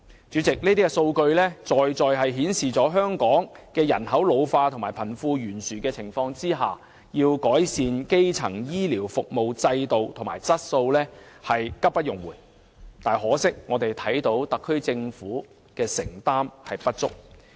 主席，上述數據說明了香港在面對人口老化和貧富懸殊的情況下，改善基層醫療服務制度及質素是急不容緩，但可惜特區政府的承擔不足。